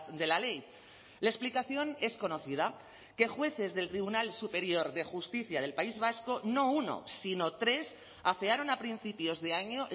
de la ley la explicación es conocida que jueces del tribunal superior de justicia del país vasco no uno sino tres afearon a principios de año